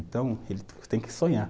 Então, ele tem que sonhar.